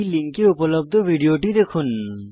এই লিঙ্কে উপলব্ধ ভিডিও টি দেখুন